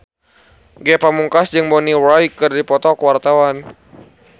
Ge Pamungkas jeung Bonnie Wright keur dipoto ku wartawan